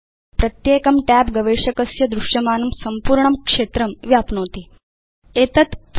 प्रत्येकं tab गवेषकस्य दृश्यमानं संपूर्णं क्षेत्रं व्याप्नोति यदा प्रदर्शितं भवति